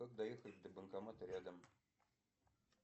как доехать до банкомата рядом